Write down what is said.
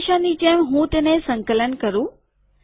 હંમેશાની જેમ હું તેને સંકલન કરું